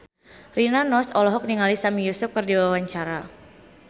Rina Nose olohok ningali Sami Yusuf keur diwawancara